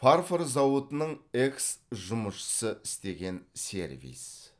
фарфор зауытының экс жұмысшысы істеген сервиз